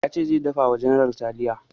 Ya ce zai dafa wa general taliya